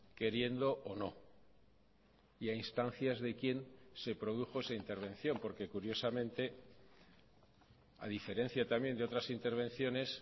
queriendo o no y a instancias de quién se produjo esa intervención porque curiosamente a diferencia también de otras intervenciones